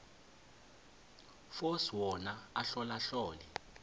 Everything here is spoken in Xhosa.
force wona ahlolahlole